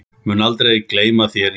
Mun aldrei gleyma þér, Ingi.